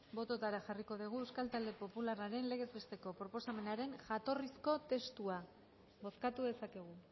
bototara jarriko degu euskal talde popularraren legez besteko proposamenaren jatorrizko testua bozkatu dezakegu